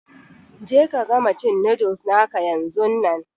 Je ka gama cin noodles naka yanzun nan!